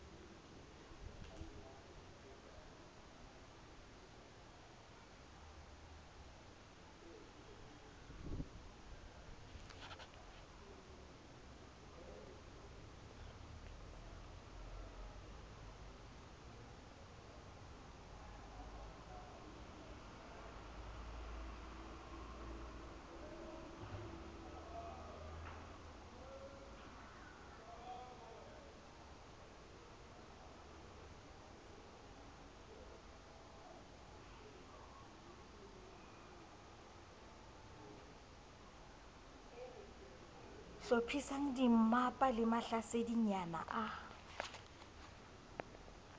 hlophisang dimmapa le mahlasedinyana a